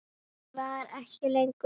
Ég var ekki lengur ein.